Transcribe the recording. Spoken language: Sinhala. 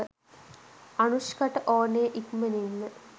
අනුෂ්කට ඕනෙ ඉක්මනින්ම